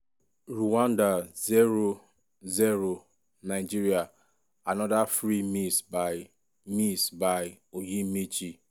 rwanda 0-0 nigeria anoda free miss by miss by onyemaechi.